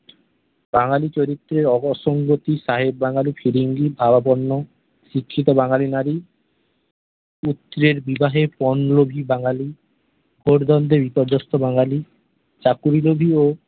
বাঙ্গালি চরিত্রের ওগো সংগতি সাহেব বাঙ্গালি ফিরিঙ্গির ভাবাপন্ন শিক্ষিত বাঙ্গালি নারী পুত্রের বিবাহের পন লোভী বাঙ্গালি পট বন্ধ বিপর্যস্ত বাঙ্গালি চাকরি লোভী ও